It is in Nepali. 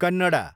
कन्नडा